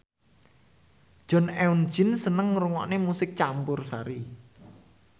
Jong Eun Ji seneng ngrungokne musik campursari